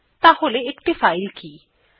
তাহলে একটি ফাইল কি160